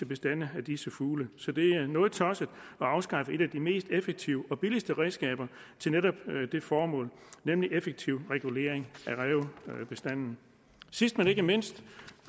bestanden af disse fugle så det er noget tosset at afskaffe et af de mest effektive og billige redskaber til netop det formål nemlig effektiv regulering af rævebestanden sidst men ikke mindst